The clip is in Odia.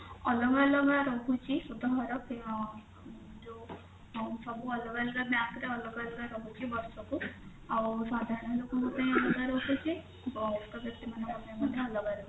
ଅଲଗା ଅଲଗା ରହୁଛି ସୁଧହାର ଆଁ ଯାଉ ଅ ସବୁ ଅଲଗା ଅଲଗା bank ର ଅଲଗା ଅଲଗା ରହୁଛି ବର୍ଷକୁ ଆଉ ସାଧାରଣ ଲୋକଙ୍କ ପାଇଁ ଅଲଗା ରହୁଛି ବୟସ୍କ ବ୍ୟକ୍ତି ମାନଙ୍କ ପାଇ ମଧ୍ୟ ଅଲଗା ରହୁଛି